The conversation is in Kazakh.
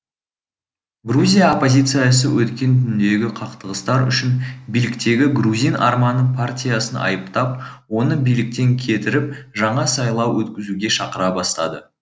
грузия оппозициясы өткен түндегі қақтығыстар үшін биліктегі грузин арманы партиясын айыптап оны биліктен кетіріп жаңа сайлау өткізуге шақыра бастады